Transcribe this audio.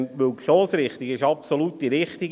Denn die Stossrichtung ist absolut die richtige.